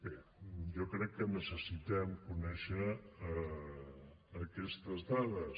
bé jo crec que necessitem conèixer aquestes dades